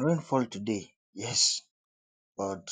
rain fall todayyes but